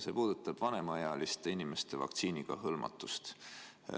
See puudutab vanemaealiste inimeste vaktsiiniga hõlmatust.